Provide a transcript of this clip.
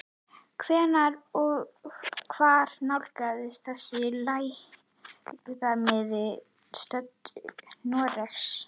Hvenær og hvar nálgast þessi lægðarmiðja strönd Noregs?